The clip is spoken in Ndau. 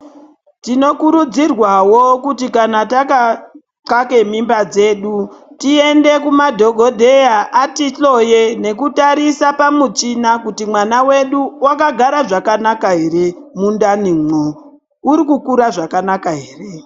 Tinokurudzirwawo kuti kana takaxake mimba dzedu tiende kumadhokodheya, atihloye, nekutarisa pamuchina kuti mwana wedu wakagara zvakanaka here, mundani mo, urikukura zvakanaka here.